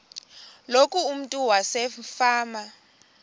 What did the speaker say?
loku umntu wasefama